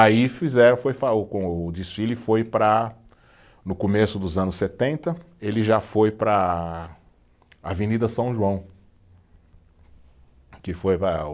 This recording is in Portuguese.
Aí fizeram, foi fa o com, o desfile foi para, no começo dos anos setenta, ele já foi para a Avenida São João que foi